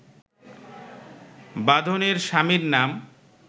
বাঁধনের স্বামীর নাম